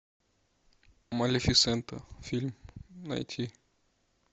малефисента фильм найти